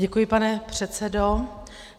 Děkuji, pane předsedo.